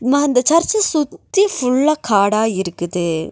ம இந்த சர்ச் சுத்தி ஃபுல்லா காடா இருக்குது.